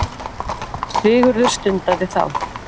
Sigurður stundaði þá.